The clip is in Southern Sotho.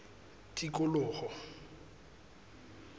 tikoloho